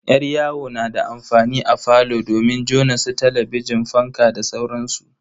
Yar yawo na da amfani a falo domin jona su talabijin, fankan da sauransu.